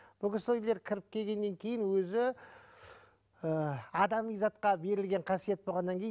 бұл кісілер кіріп келгеннен кейін өзі адами затқа берілген қасиет болғаннан кейін